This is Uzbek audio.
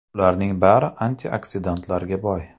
Ularning bari antioksidantlarga boy.